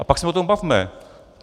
A pak se o tom bavme.